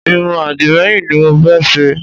Irun àdìmẹ́yìn ni mo fẹ́ ṣe